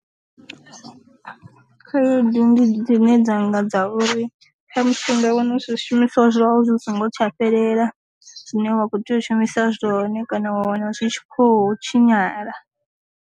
Khaedu ndi dzine dzanga dza uri khamusi u nga wana zwi shumiswa zwawu zwi songo tsha fhelela zwine wa kho tea u shumisa zwone kana wa wana zwi tshi kho tshinyala.